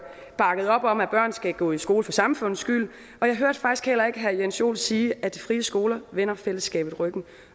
bakkede op om at børn skal gå i skole for samfundets skyld og jeg hørte faktisk heller ikke herre jens joel sige at de frie skoler vender fællesskabet ryggen og